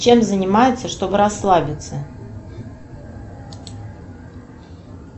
чем занимаются чтобы расслабиться